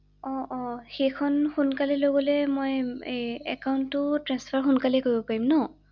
অ অ, সেইখন সোনকালে লৈ গ’লে মই একাউন্টটো ট্ৰেন্সফাৰ সোনকালে কৰিব পাৰিম ন ৷